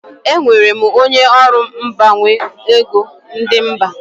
Enwere m onye ọrụ mgbanwe ego ndi mba.